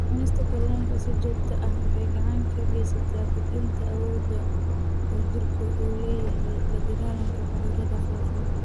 Cunista kalluunka si joogto ah waxay gacan ka geysataa kordhinta awoodda uu jidhku u leeyahay la-dagaallanka cudurrada faafa.